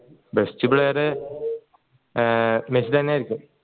best player ഏർ Messi തന്നെ ആയിരിക്കും